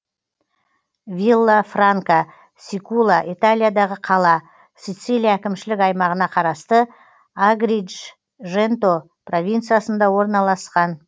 виллафранка сикула италиядағы қала сацилия әкімшілік аймағына қарасты агридженто провинциясында орналасқан